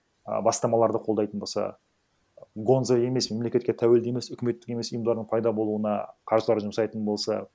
і бастамаларды қолдайтын болса гонза емес мемлекетке тәуелді емес үкіметтік емес ұйымдардың пайда болуына қаржылар жұмсайтын болса